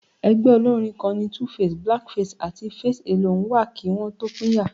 Ẹgbẹ́ olórín kan ni 2face, Black Face àti Face Alone wà kí wọn tó pínyà